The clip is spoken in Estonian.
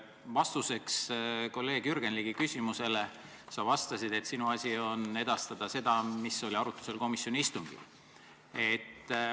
Vastuseks kolleeg Jürgen Ligi küsimusele sa vastasid, et sinu asi on edastada seda, mis oli arutlusel komisjoni istungil.